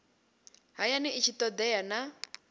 hayani i tshi todea na